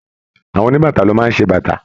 Àwọn oníbàtà ló máa ń ṣe bàtà